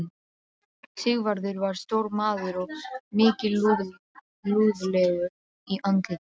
Sigvarður var stór maður og mikilúðlegur í andliti.